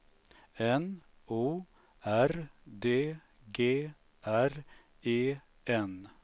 N O R D G R E N